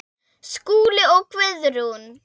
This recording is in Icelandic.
Skúli og Guðrún.